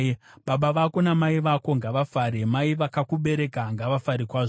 Baba vako namai vako ngavafare; mai vakakubereka ngavafare kwazvo!